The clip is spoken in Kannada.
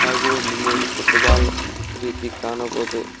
ಹಾಗು ಒಂದ ಮೂರು ಪೂಟಬಾಲ್ ರೀತಿ ಕಾಣಬೋದು.